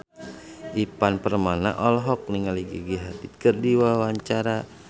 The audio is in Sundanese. Ivan Permana olohok ningali Gigi Hadid keur diwawancara